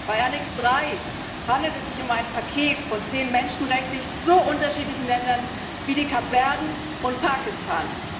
Bei Anhang III handelt es sich um ein Paket von zehn menschenrechtlich so unterschiedlichen Ländern wie Kap Verde und Pakistan.